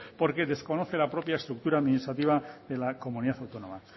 porque desconoce la propia estructura administrativa de la comunidad autónoma